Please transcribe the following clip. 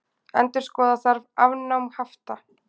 Endurskoða þarf afnám hafta